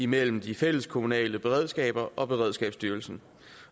mellem de fælleskommunale beredskaber og beredskabsstyrelsen